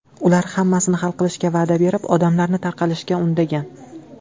Ular hammasini hal qilishga va’da berib, odamlarni tarqalishga undagan.